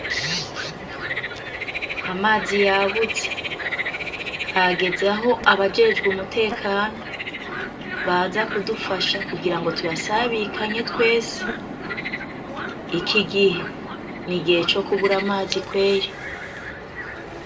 Amazi yabuze hageze aho abajejwe umutekano baza kudufasha kugirango tuyasabikanye twese ikigihe n’igihe cokubura amazi kweri.